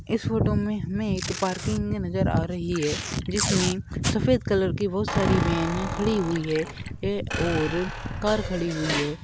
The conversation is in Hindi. इस फोटो में हमें एक पार्किंग नजर आ रही है जिसमें सफेद कलर की बहुत सारी वेने खड़ी हुई है और कार खड़ी हुई है।